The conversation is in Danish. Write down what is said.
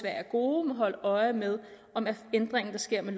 er gode må holde øje med om ændringen der sker med